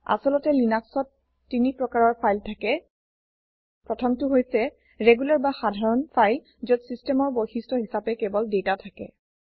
আচলতে লিনাক্সত ৩ প্ৰকাৰৰ ফাইল থাকে প্ৰথমটো হৈছে ৰেগুলাৰ বা সাধাৰণ ফাইল যত ছিচটেমৰ বৈশিস্ত হিচাপে কেৱল ডাটা থাকে